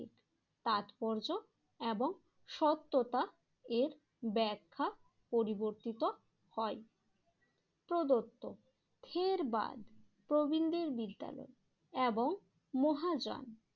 তাৎপর্য এবং সত্যতা এর ব্যাখ্যা পরিবর্তিত হয়। প্রদত্ত ধীরবাদ প্রবীনদের বিদ্যায় এবং মহাযান